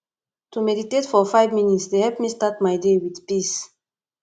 to meditate for five minutes dey help me start my day with peace